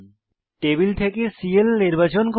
table থেকে cell নির্বাচন করুন